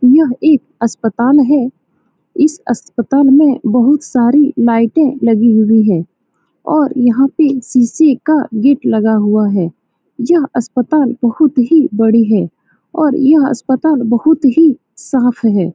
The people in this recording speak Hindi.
यह एक अस्पताल है। इस अस्पताल में बहुत साड़ी लाइटे लगी हुई है। और यहाँ पे शीशे का गेट लगा हुआ है। यह अस्पताल बहुत ही बड़ी है। और यह अस्पताल बहुत ही साफ़ है।